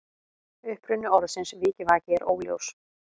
Uppruni orðsins vikivaki er óljós.